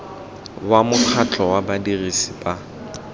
wa mokgatlho wa badirisi ba